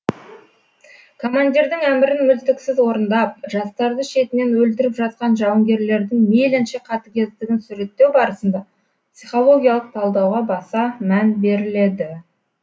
командирдің әмірін мүлтіксіз орындап жастарды шетінен өлтіріп жатқан жауынгерлердің мейлінше қатыгездігін суреттеу барысында психологиялық талдауға баса мән беріледі